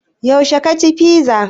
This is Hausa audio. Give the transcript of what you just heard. Yaushe ka ci fiza?